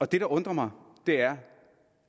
det der undrer mig er